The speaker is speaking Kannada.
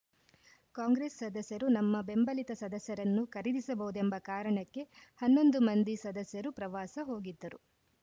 ಕಾಂಗ್ರೆಸ್‌ ಸದಸ್ಯರು ನಮ್ಮ ಬೆಂಬಲಿತ ಸದಸ್ಯರನ್ನು ಖರೀದಿಸಬಹುದೆಂಬ ಕಾರಣಕ್ಕೆ ಹನ್ನೊಂದು ಮಂದಿ ಸದಸ್ಯರು ಪ್ರವಾಸ ಹೋಗಿದ್ದರು